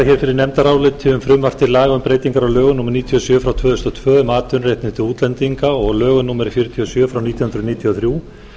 til laga um breytingar á lögum númer níutíu og sjö tvö þúsund og tvö um atvinnuréttindi útlendinga og lögum númer fjörutíu og sjö nítján hundruð níutíu og þrjú